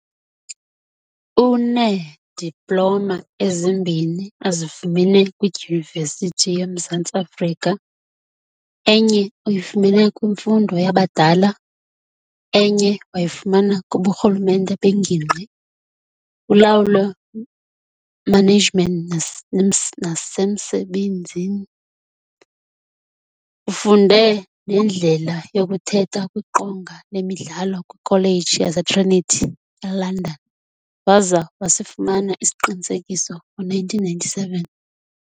Uneediploma ezimbini azifumene kwiDyunivesithi yomMzantsi Afrika, enye uyifumene kwiMfundo yabadala, enye wayifumana kkuburhulumente bengingqi, kulawulo management nasemsebenzi. Ufunde nendlela yokuthetha kwiqonga lemidlalo kwikholeji yaseTrinity, eLondon, waza wasifumana isiqinisekiso ngo1997.